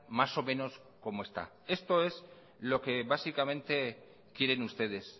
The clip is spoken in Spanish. más o menos como está esto es lo que básicamente quieren ustedes